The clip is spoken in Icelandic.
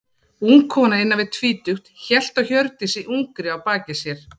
Ung kona, innan við tvítugt, hélt á Hjördísi ungri á baki sér.